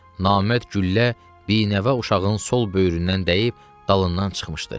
Namərd güllə binəvə uşağın sol böyründən dəyib dalından çıxmışdı.